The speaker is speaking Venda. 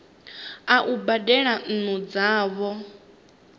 a u badela nnu dzavho